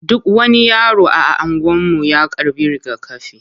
Duk wani yaro a anguwan mu ya karɓi rigakafi.